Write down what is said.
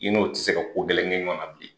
I n'o tɛ se ka ko gɛlɛn kɛ ɲɔgɔnna bilen.